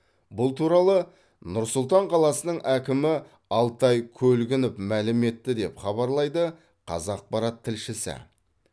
бұл туралы нұр сұлтан қаласының әкімі алтай көлгінов мәлім етті деп хабарлайды қазақпарат тілшісі